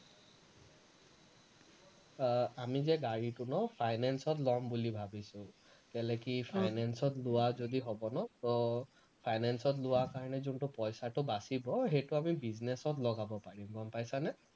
আহ আমি যে গাড়ীটো ন finance ত লম বুলি ভাৱিছো কেলৈ কি finance ত লোৱা যদি হব ন তো finance ত লোৱা কাৰণে যোনটো পইচাটো বাচিব সেইটো আমি business ত লগাব পাৰিম গম পাইছানে?